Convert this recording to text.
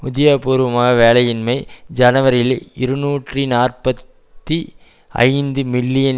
உத்தியோகபூர்வமாக வேலையின்மை ஜனவரியில் இருநூற்றி நாற்பத்தி ஐந்து மில்லியன்